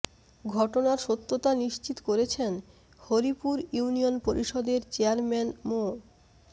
ঘটনার সত্যতা নিশ্চিত করেছেন হরিপুর ইউনিয়ন পরিষদের চেয়ারম্যান মো